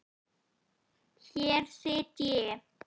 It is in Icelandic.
Hér sit ég.